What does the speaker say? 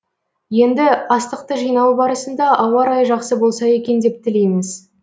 енді астықты жинау барысында ауа райы жақсы болса екен деп тілейміз